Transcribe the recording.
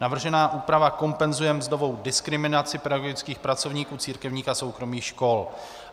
Navržená úprava kompenzuje mzdovou diskriminaci pedagogických pracovníků církevních a soukromých škol.